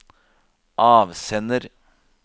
avsender